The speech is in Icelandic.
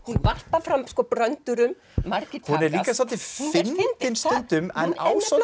varpar fram bröndurum margir takast hún er svolítið fyndin stundum